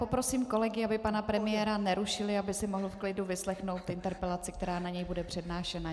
Poprosím kolegy, aby pana premiéra nerušili, aby si mohl v klidu vyslechnout interpelaci, která na něj bude přednášena.